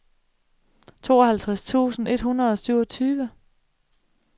tooghalvtreds tusind et hundrede og syvogtyve